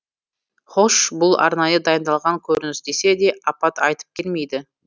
хош бұл арнайы дайындалған көрініс десе де апат айтып келмейді